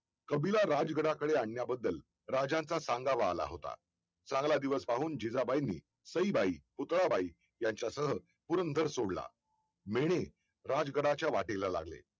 कबिला राज गडा कडे आणण्याबद्दल राजाचा सांगावा आला होता चांगला दिवस पाहून जिजाबाईंनी सईबाई पुतळा बाई यांच्या सह पुरंदर सोडला मेणे राज गराच्या वाटेला लागले